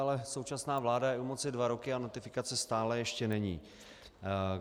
Ale současná vláda je u moci dva roky a notifikace stále ještě není.